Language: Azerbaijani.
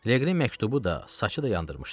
Leqri məktubu da, saçı da yandırmışdı.